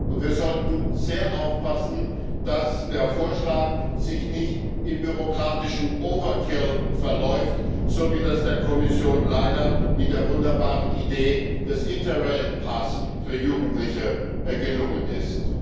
Und wir sollten sehr aufpassen, dass der Vorschlag sich nicht in bürokratischem Overkill verläuft, so wie das der Kommission leider mit der wunderbaren Idee des Interrail Pass für Jugendliche gelungen ist.